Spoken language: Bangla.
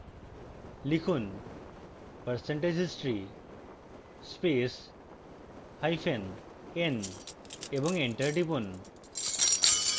লিখুন percentage history space hyphen n এবং enter টিপুন